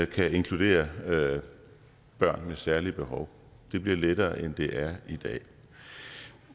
kan inkludere børn med særlige behov det bliver lettere end det er i dag